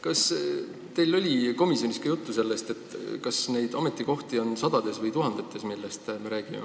Kas teil oli komisjonis juttu sellest, kas neid ametikohti, millest me räägime, on sadades või tuhandetes?